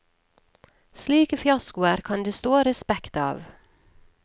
Slike fiaskoer kan det stå respekt av.